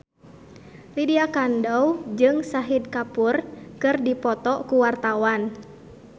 Lydia Kandou jeung Shahid Kapoor keur dipoto ku wartawan